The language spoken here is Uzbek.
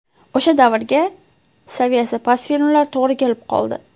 O‘sha davrga saviyasi past filmlar to‘g‘ri kelib qoldi.